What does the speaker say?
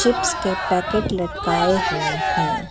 Chips के packet लटकाए हुए हैं।